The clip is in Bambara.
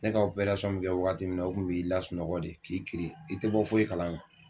Ne ka opersɔn ne kɛ wagati min na u kun n'ai lasunɔgɔ de k'i kiiri i te bɔ foyi kala ma